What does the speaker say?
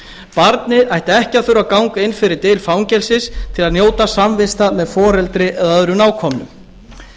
barnið ætti ekki að þurfa að ganga inn fyrir dyr fangelsis til að njóta samvista með foreldri eða öðrum nákomnum